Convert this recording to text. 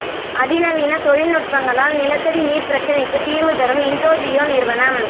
அதிநவீன தொழில்நுட்பங்களால் நிலத்தடி நீர் பிரச்னைக்கு தீர்வு தரும் இண்டோஜியோ நிறுவனம்